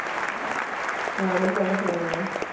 ആണ്ല്ലേ ആഹ്